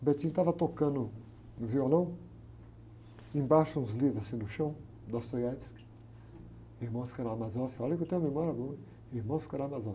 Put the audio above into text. O estava tocando um violão, embaixo uns livros assim no chão, Dostoiévski, Irmãos Karamazov, olha que eu tenho memória boa, ein, Irmãos Karamazov.